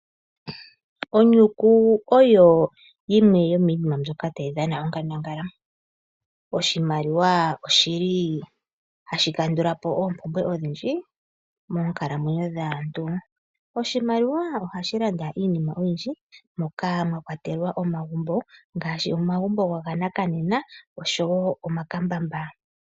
Onyuku oyo yimwe yomiinima mbyoka tayi dhana onkandangala. Oshimaliwa oshi li hashi kandula po oompumbwe odhindji moonkalamwenyo dhaantu. Oshimaliwa ohashi landa iinima oyindji moka mwa kwatelwa omagumbo ngaashi omagumbo ganakanena osho wo omakambamba.